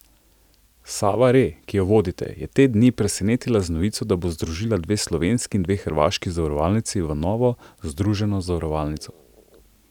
Sava Re, ki jo vodite, je te dni presenetila z novico, da bo združila dve slovenski in dve hrvaški zavarovalnici v novo združeno zavarovalnico.